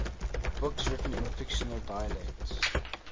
books written in fictional dialects